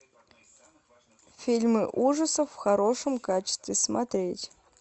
фильмы ужасов в хорошем качестве смотреть